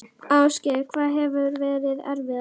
Ásgeir: Hvað hefur verið erfiðast?